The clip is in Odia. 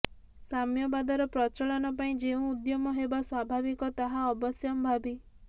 ସାମ୍ୟବାଦର ପ୍ରଚଳନ ପାଇଁ ଯେଉଁ ଉଦ୍ୟମ ହେବା ସ୍ୱାଭାବିକ ତାହା ଅବଶ୍ୟମ୍ଭାବୀ